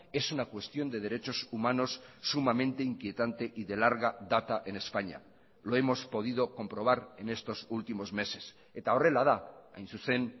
es una cuestión de derechos humanos sumamente inquietante y de larga data en españa lo hemos podido comprobar en estos últimos meses eta horrela da hain zuzen